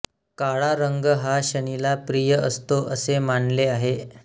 काळा रंग हा शनीला प्रिय असतो असे मानले आहे